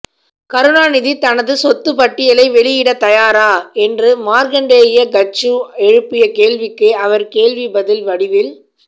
கருணாநிதி தனது சொத்துப்பட்டியலை வெளியிடத்தயாரா என்று மார்க்கண்டேய கட்ஜூ எழுப்பிய கேள்விக்கு அவர் கேள்வி பதில் வடிவில்